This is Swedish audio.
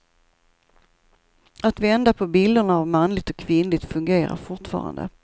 Att vända på bilderna av manligt och kvinnligt fungerar fortfarande.